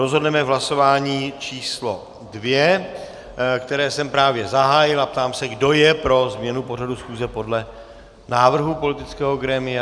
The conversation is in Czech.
Rozhodneme v hlasování číslo 2, které jsem právě zahájil, a ptám se, kdo je pro změnu pořadu schůze podle návrhu politického grémia.